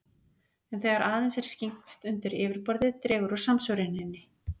En þegar aðeins er skyggnst undir yfirborðið dregur úr samsvöruninni.